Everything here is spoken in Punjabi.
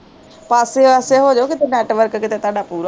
ਪਾਸੇ ਆਸੇ ਹੋਜੋ ਕਿਤੇ network ਕਿਤੇ ਤੁਹਾਡਾ ਪੂਰਾ ਆਜੇ